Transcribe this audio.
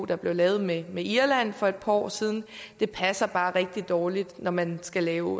der blev lavet med med irland for et par år siden det passer bare rigtig dårligt når man skal lave